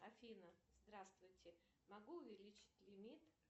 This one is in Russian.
афина здравствуйте могу увеличить лимит